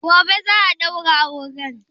Gobe za a ɗaura auren